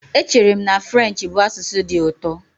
Echere m na French bụ asụsụ dị ụtọ